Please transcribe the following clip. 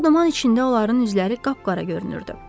Ağduman içində onların üzləri qapqara görünürdü.